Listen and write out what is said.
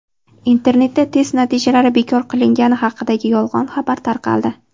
Internetda test natijalari bekor qilingani haqidagi yolg‘on xabar tarqaldi.